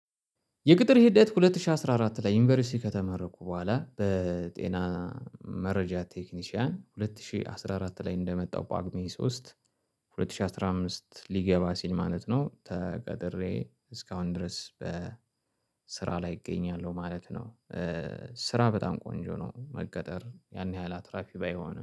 የቅጥር ሂደት ሁለት ሺህ አስራ አራት ላይ ዩኒቨርሲቲ ከተመረኩ በኋላ በጤና። መረጃ ቴክኒሻን ሁለት ሺህ አስራ አራት ላይ እንደመጣው ጳጉሜ ሶስት ሁለት ሺህ አስራ አምስት ሊገባ ሲል ማለት ነው ተቀጥሬ እስካሁን ድረስ በስራ ላይ እገኛለሁ ማለት ነው። ስራ በጣም ቆንጆ ነው መቀጠር ያን ያህል አትራፊ ባይሆንም